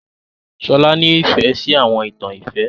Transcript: Shola nìfẹ si àwọn ìtan ìfẹ.